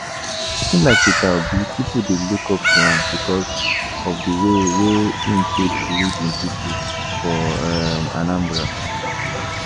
Person like Peter Obi, pipo dey look up to am because of di way wey im take lead im pipo for um Anambra